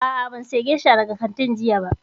A'a, ban saya gesha daga kantin jiya ba